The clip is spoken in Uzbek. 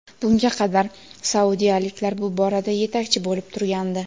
Bunga qadar saudiyaliklar bu borada yetakchi bo‘lib turgandi.